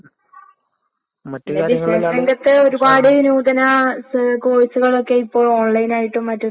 പഠിക്കേണ്ട സമയം എന്തായാലും പഠിച്ചിരിക്കണന്ന്ള്ളതിന്റെ മൂല്യം മനസ്സിലായത് ശെരിക്കും പറഞ്ഞാ ഇപ്പാണ്.